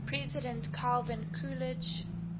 president calvin coolidge